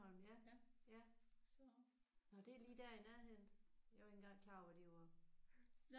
Stjernholm ja ja. Nåh det er lige der i nærheden? Jeg var ikke engang klar over hvor de var